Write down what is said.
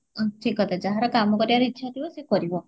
ଠିକ କଥା ଯାହାର କାମ କରିବାର ଇଚ୍ଛା ଥିବା ସିଏ କରିବ